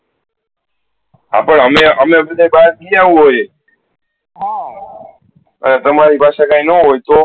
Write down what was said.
આપે અમે અમે ભાહર જીયા હોય હા અને તમારી પાસે કયી ના હોય તો